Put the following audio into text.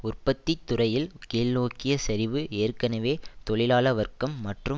உற்பத்தி துறையில் கீழ்நோக்கிய சரிவு ஏற்கனவே தொழிலாள வர்க்கம் மற்றும்